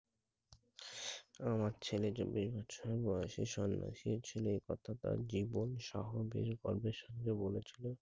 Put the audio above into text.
আমার ছেলে চব্বিশ বছর বয়সে সন্ন্যাসী ছিল একথা টার জীবন সমন্ধে পর্বে সূত্রে বলেছিলে।